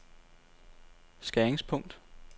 skæringspunkt